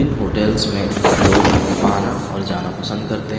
इन hotel में लोग आना और जाना पसंद करते है।